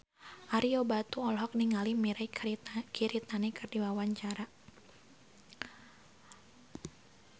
Ario Batu olohok ningali Mirei Kiritani keur diwawancara